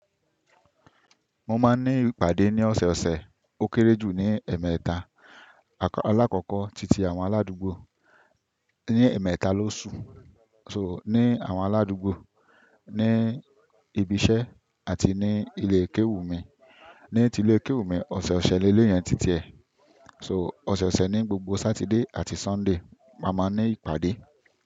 Mo máa ń ní ìpàdé ní ọ̀sẹ̀ ọ̀sẹ̀, ó kéré jù ní ẹ̀ẹ̀mẹta. Alákọ̀kọ titi àwọn aládùúgbò ní ẹ̀ẹ̀mẹta ló ṣu. So ní àwọn aládùúgbò, ní ibi iṣẹ́ àti ní ilékéwù mi. Ní ti ilékéwù mi, ọ̀sẹ̀ ọ̀sẹ̀ lelẹ́ yẹn ti tiẹ̀. So ọ̀sẹ̀ ọ̀sẹ̀ ní gbogbo Sátidé àti Sọ́ndé, ma máa ní ìpàdé.